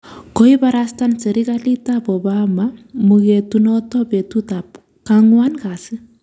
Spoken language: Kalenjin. Koibarasta serkalit ab Obama mugetunoto betut ab kwang'wan kasi